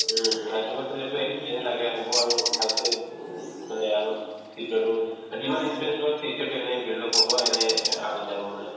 উম, এইটো experience আগে হ'ব আৰু ভালকে উম মানে আগতে future তো অ যিমান experience হওক future তো এনে build up হ'ব এনে আগত যাব মানে